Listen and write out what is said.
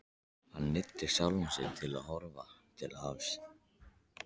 Hann neyddi sjálfan sig til að horfa til hafs.